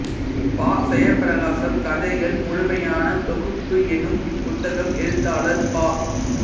பா செயப்பிரகாசம் கதைகள் முழுமையான தொகுப்பு எனும் இப்புத்தகம் எழுத்தாளர் பா